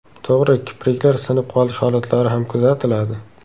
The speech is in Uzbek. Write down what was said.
To‘g‘ri, kipriklar sinib qolish holatlari ham kuzatiladi.